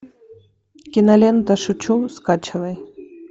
кинолента шучу скачивай